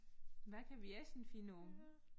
Hvad kan vi essen finde på?